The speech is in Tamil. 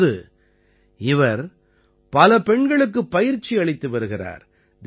இப்போது இவர் பல பெண்களுக்குப் பயிற்சி அளித்து வருகிறார்